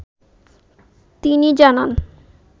তিনিজানান